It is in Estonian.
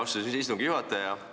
Aitäh, austatud istungi juhataja!